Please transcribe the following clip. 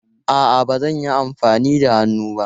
A'a, ba zan yi amfani da hannuna ba.